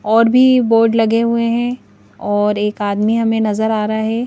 और भी बोर्ड लगे हुए हैं और एक आदमी हमें नजर आ रहा ह।